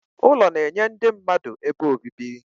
Ụlọ na-enye ndị mmadụ ebe obibi.